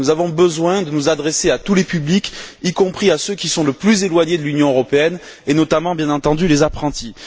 Nous avons besoin de nous adresser à tous les publics, y compris à ceux qui sont les plus éloignés de l'Union européenne, et notamment, bien entendu, aux apprentis.